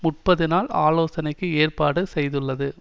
முப்பது நாள் ஆலோசனைக்கு ஏற்பாடு செய்துள்ளது